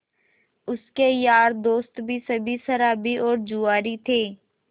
उसके यार दोस्त भी सब शराबी और जुआरी थे